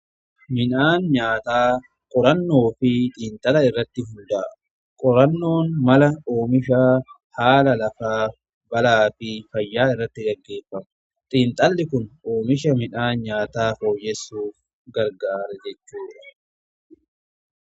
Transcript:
Midhaan nyaataa qorannoo fi xiinxala irratti hunda'a. Qorannoon mala oomisha haala lafaa balaa fi fayyaa irratti dangeeffamu xiinxalli kun oomisha midhaan nyaataa fooyyessuuf gargaara jechuudha.